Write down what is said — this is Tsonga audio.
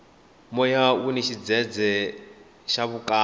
moya wuni xidzedze xa vukarhi